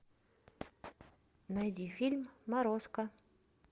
найди фильм морозко